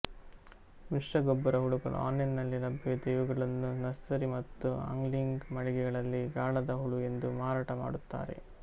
ಮಿಶ್ರಗೊಬ್ಬರ ಹುಳುಗಳು ಆನ್ಲೈನ್ನಲ್ಲಿ ಲಭ್ಯವಿದ್ದು ಇವುಗಳನ್ನು ನರ್ಸರಿ ಮತ್ತು ಆಂಗ್ಲಿಂಗ್ ಮಳಿಗೆಗಳಲ್ಲಿ ಗಾಳದ ಹುಳ ಎಂದು ಮಾರಾಟ ಮಾಡುತ್ತಾರೆ